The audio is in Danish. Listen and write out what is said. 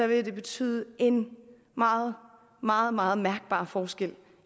det betyde en meget meget meget mærkbar forskel